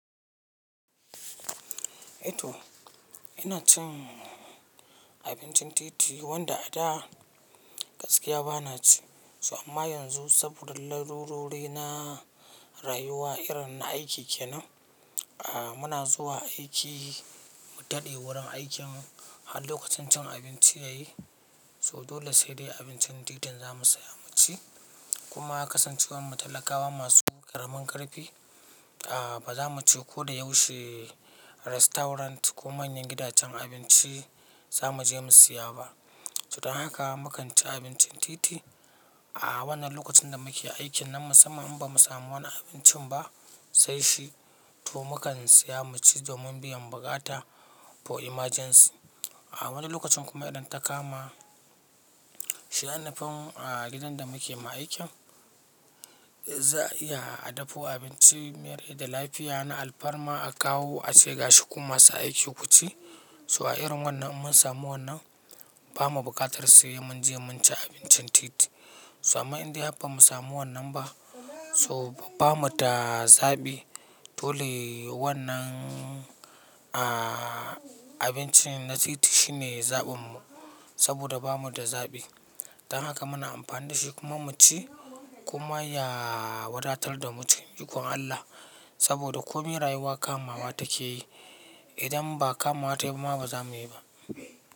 Eh to ina cin abincin titi wanda a da gaskiya bana ci. So amma yanzu saboda larurori na rayuwa irin na aiki kenan, muna zuwa aiki mu tade wurin aikinmu har lokacin cin abinci ya yi, so dole sai dai abincin titi zamu saya mu ci. Kuma kasancewar mu talakawa masu ƙaramin ƙarfi, ba zamu ci ko da yaushe resturant ko manyan gidajen abinci za mu je mu siya ba. Don haka mu kan ci abincin titi a wannan lokacin da muke aiki nan. Musamman in bamu samu wani abincin ba sai shi, to mu kan siya mu ci domin biyan bukata for emergency. A wani lokacin kuma idan ta kama shi ai nifi gidan da muke ma aikin, za a iya adapo abinci mai da lafiya na alfarma a kawo a ce ga shi kuma su aiki ku ci. So a irin wannan idan mun samu wannan bamu buƙatar sai mun je mun ci abincin titi. So amma in dai har bamu samu wannan ba so bamu da zaɓi dole wannan a-abincin na titi shine zaɓin mu saboda bamu da zaɓi. Don haka muna amfani da shi kuma mu ci kuma ya wadatar da mu cikin yiwuwar Allah saboda komin rayuwa kama wa ta ke yi. Idan ba kama ta yi ba ma ba za mu yi ba.